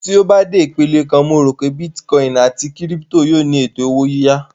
Tí ó bá dé ipele kan, mo rò pé bítíkọìnì àti kírípítò yóò ní ètò owó yíyá